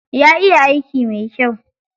Ya iya aiki mai kyai.